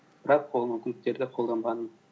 бірақ ол мүмкіндіктерді қолданбадым